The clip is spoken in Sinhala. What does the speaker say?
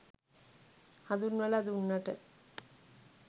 හඳුන්වලා දුන්නට.